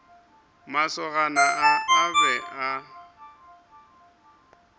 masogana a a be a